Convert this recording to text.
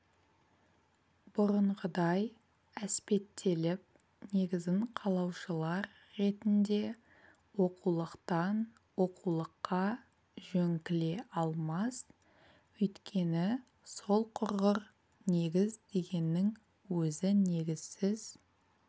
бұрынғыдай әспеттеліп негізін қалаушылар ретінде оқулықтан оқулыққа жөңкіле алмас өйткені сол құрғыр негіз дегеннің өзі негізсіз